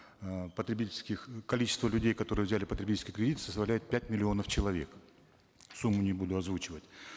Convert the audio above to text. э потребительских количество людей которые взяли потребительский кредит составляет пять миллионов человек сумму не буду озвучивать